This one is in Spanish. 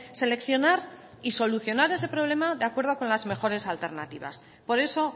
seleccionar y solucionar ese problema de acuerdo con las mejores alternativas por eso